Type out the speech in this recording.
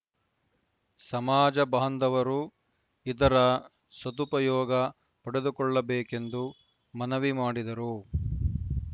ಸಮಾಜ ಬಾಂಧವರು ಇದರ ಸದುಪಯೋಗ ಪಡೆದುಕೊಳ್ಳಬೇಕೆಂದು ಮನವಿ ಮಾಡಿದರು